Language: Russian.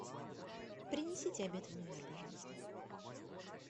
принесите обед в номер пожалуйста